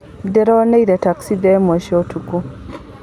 Ndĩronire taxi thaa ĩmwe cia ũtukũ.